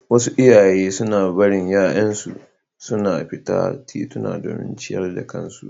Wasu iyaye suna barin ’ya’yansu suna fita titimu don ciyar da kansu.